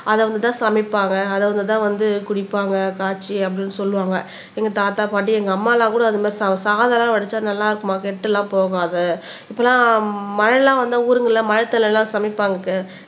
அத வந்து தான் சமைப்பாங்க அது வந்து தான் வந்து குடிப்பாங்க காய்ச்சி அப்படின்னு சொல்லுவாங்க எங்க தாத்தா பாட்டி எங்க அம்மா எல்லாம் கூட அது மாதிரி சமைப்பாங்க சாதம்லாம் வடிச்சா நல்லா இருக்குமாம் கெட்டதெல்லாம் போகாது மழை எல்லாம் வந்தா ஊருங்கள்ல மழை தண்ணில தான் சமைப்பாங்க